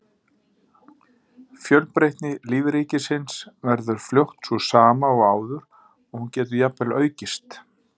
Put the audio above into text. Fjölbreytni lífríkisins verður fljótt sú sama og áður og hún getur jafnvel aukist.